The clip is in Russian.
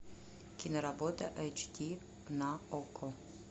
киноработа эйч ди на окко